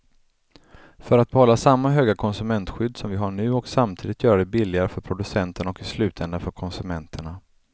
För att behålla samma höga konsumentskydd som vi har nu och samtidigt göra det billigare för producenterna och i slutänden för konsumenterna.